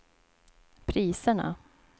priserna